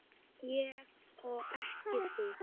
Ég og ekki þú.